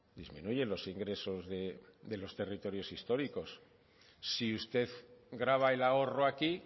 disminuyen los ingresos de los territorios históricos si usted grava el ahorro aquí